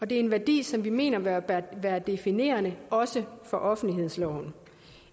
det er en værdi som vi mener bør være definerende også for offentlighedsloven